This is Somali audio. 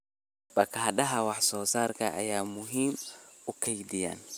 Baakadaha wax soo saarka ayaa muhiim u ah kaydinta.